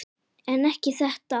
En ekki þetta.